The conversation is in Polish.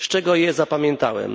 Z czego je zapamiętałem?